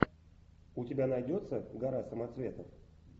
у тебя найдется гора самоцветов